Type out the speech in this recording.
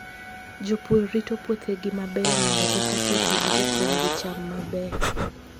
Jopur rito puothegi maber mondo eka puothegi opong' gi cham mabeyo.